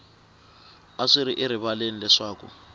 a swi ri erivaleni leswaku